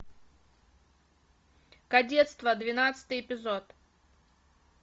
кадетство двенадцатый эпизод